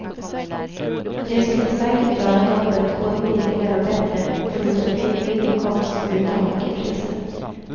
De skulle säkert göra jobbet både billigare och bättre och få ut en hygglig inkomst utan ockerpriser.